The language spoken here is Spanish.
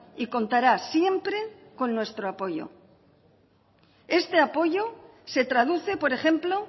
y contará siempre con nuestro apoyo este apoyo se traduce por ejemplo